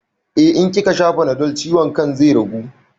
Eh, in kikasha fanadol ciwon kan zai ragu